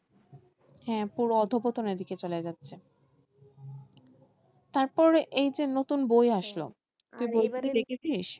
হ্যাঁ পুরো অধপতনের দিকে চলে যাচ্ছে তারপর এইযে নতুন বই আসলো